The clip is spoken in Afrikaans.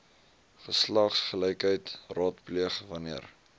geslagsgelykheid raadpleeg wanneer